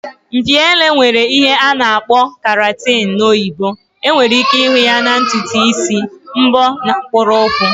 Mpi ele nwere ihe a na-akpọ keratin na oyibo. Enwere ike ịhụ ya na ntutu isi, mbọ na mkpụrụ ukwu